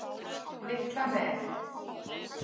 Litla Mel